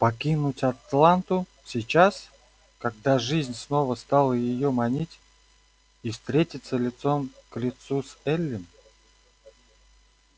покинуть атланту сейчас когда жизнь снова стала её манить и встретиться лицом к лицу с эллин